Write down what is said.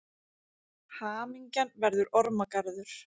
Hamingjan verður ormagarður.